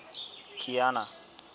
kiana